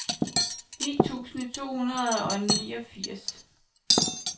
ni tusind to hundrede og niogfirs